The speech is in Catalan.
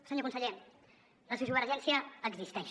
senyor conseller la sociovergència existeix